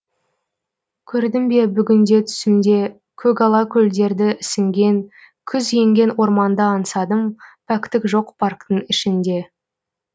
көрдім бе бүгінде түсімде көгала көлдерді ісінген күз енген орманды аңсадым пәктік жоқ парктің ішінде